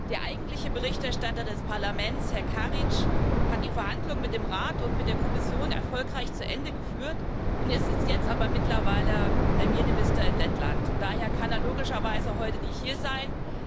Der eigentliche Berichterstatter des Parlaments, Herr Kariņš, hat die Verhandlungen mit dem Rat und mit der Kommission erfolgreich zu Ende geführt, ist jetzt aber mittlerweile Premierminister in Lettland, und daher kann er logischerweise heute nicht hier sein.